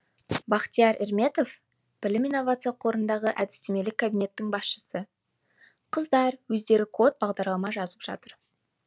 бахтияр эрметов білім инновация қорындағы әдістемелік кабинеттің басшысы қыздар өздері код бағдарлама жазып жатыр